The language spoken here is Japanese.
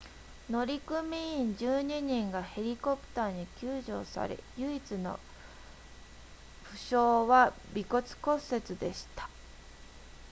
乗組員12人がヘリコプターに救助され唯一の負傷は鼻骨骨折でした